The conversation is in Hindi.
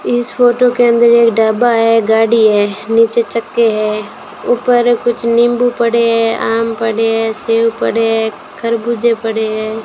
इस फोटो के अंदर एक ढबा है गाड़ी है नीचे चक्के है ऊपर कुछ नींबू पड़े हैं आम पड़े हैं सेव पड़े हैं खरबूजे पड़े हैं।